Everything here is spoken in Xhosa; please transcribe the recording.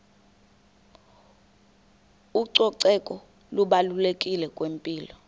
ucoceko lubalulekile kwimpilo